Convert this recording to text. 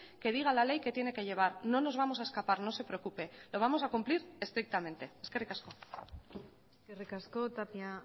que diga la ley que tiene que llevar no nos vamos a escapar no se preocupe lo vamos a cumplir estrictamente eskerrik asko eskerrik asko tapia